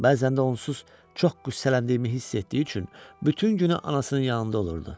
Bəzən də onsuz çox qüssələndiyimi hiss etdiyi üçün bütün günü anasının yanında olurdu.